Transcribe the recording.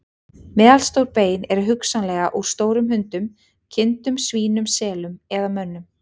Meðalstór bein eru hugsanlega úr stórum hundum, kindum, svínum, selum eða mönnum.